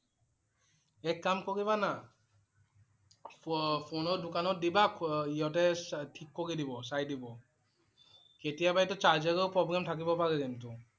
এক কাম কৰিবা না। ফো~ফোনৰ দোকানত দিবা ই~হঁতে ঠিক কৰি দিব, চাই দিব। কেতিয়াবা এইটো charger ৰ problem থাকিব পাৰে কিন্তু